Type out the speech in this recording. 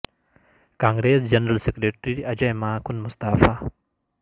کا نگریس general secretary Ajay Maken مستعفی